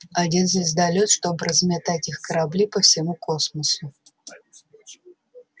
один звездолёт чтобы разметать их корабли по всему космосу